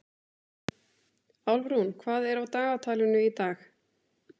Álfrún, hvað er á dagatalinu í dag?